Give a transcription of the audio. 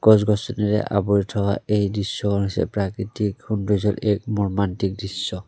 গছ-গছনিৰে আৱৰি থকা এই দৃশ্যখন হৈছে প্ৰাকৃতিক সৌন্দৰ্য্যৰ এক মৰ্মান্তিক দৃশ্য।